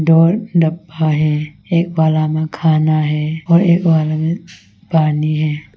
और डब्बा है एक बाला में खाना है और एक बाला में पानी है।